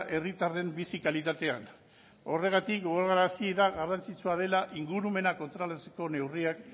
herritarren bizi kalitatean horregatik gogorarazi da garrantzitsua dela ingurumena kontrolatzeko neurriak